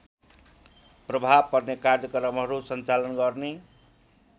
प्रभाव पर्ने कार्यक्रमहरू सञ्चालन गर्ने